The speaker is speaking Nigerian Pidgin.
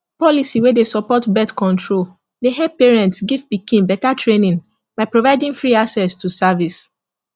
policy wey dey support birthcontrol dey help parents give pikin better trainingby providing free access to service